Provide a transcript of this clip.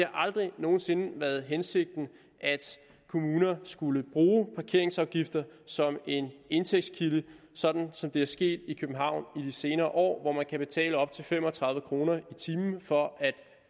aldrig nogen sinde været hensigten at kommuner skulle bruge parkeringsafgifter som en indtægtskilde sådan som det er sket i københavn i de senere år hvor man kan betale op til fem og tredive kroner i timen for at